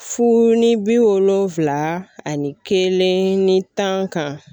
Fu ni bi wolonlonfila ani kelen ni tan kan